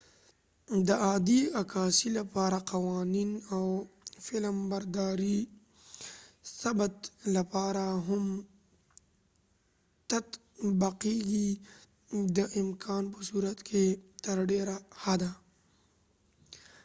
د عادي عکاسۍ لپاره قوانین د فلمبردارۍ ثبت لپاره هم تطبقیږي د امکان په صورت کې تر ډیره حده